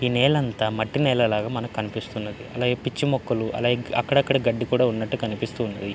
ఈ నెల అంతా మట్టి నేలలాగా మనకి కనిపిస్తున్నది. పిచ్చిపిచ్చి మొక్కలు అలాగే అక్కడక్కడ గడ్డి కూడా ఉన్నట్టు కనిపిస్తుంది.